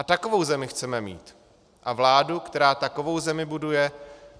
A takovou zemi chceme mít a vládu, která takovou zemi buduje.